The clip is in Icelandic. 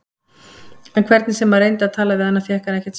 En hvernig sem hann reyndi að tala við hana fékk hann ekkert svar.